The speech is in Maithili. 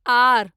आर